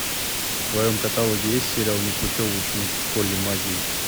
в твоем каталоге есть сериал непутевый ученик в школе магии